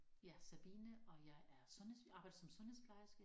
Jeg Sabine og jeg er sundheds arbejder som sundhedsplejerske